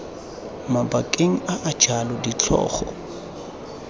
mabakeng a a jalo ditlhogo